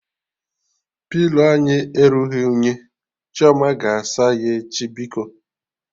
Pilo anyị erughị unyi, Chioma ga-asa ya echi biko